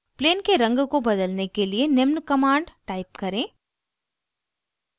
plane के रंग को बदलने के लिए निम्न command type करें :